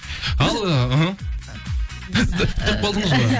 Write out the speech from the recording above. ал іхі тұрып қалдыңыз ғой